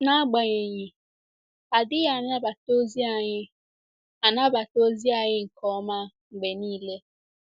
N'agbanyeghị, a dịghị anabata ozi anyị anabata ozi anyị nke ọma mgbe nile.